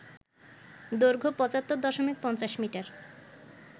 দৈর্ঘ্য ৭৫ দশমিক ৫০ মিটার